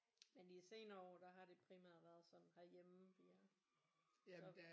Men i de senere år der har det primært været sådan herhjemme vi har så